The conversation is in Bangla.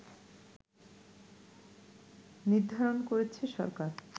নির্ধারণ করেছে সরকার